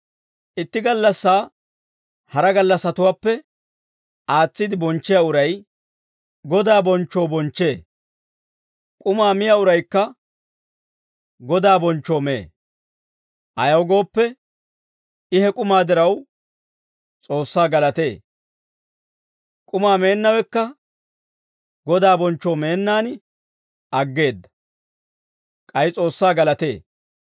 Itti gallassaa hara gallassatuwaappe aatsiide bonchchiyaa uray Godaa bonchchoo bonchchee; k'umaa miyaa uraykka Godaa bonchchoo mee. Ayaw gooppe, I he k'umaa diraw, S'oossaa galatee. K'umaa meennawekka Godaa bonchchoo meennaan aggeedda; k'ay S'oossaa galatee.